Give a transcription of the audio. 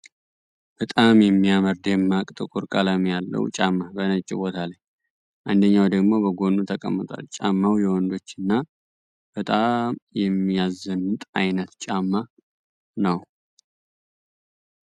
በጣም የሚያምር ደማቅ ጥቁር ቀለም ያለው ጫማ በነጭ ቦታ ላይ አንደኛው ደግሞ በጎኑ ተቀምጧል። ጫማው የወንዶች እና በጣም የሚያዘንጥ አይነት ጫማ ነው።